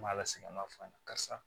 N m'a ala segin an b'a f'a ɲɛna karisa